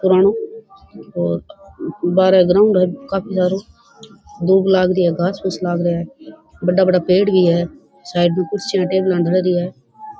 पुरानो बारे ग्राउंड है काफी सारो धुब लाग री है घास फुस लाग रिया है बड़ा बड़ा पेड़ भी है साइड में कुर्सियां टेबला धरी है।